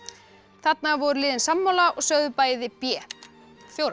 þarna voru liðin sammála og sögðu bæði b fjórða